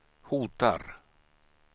hotar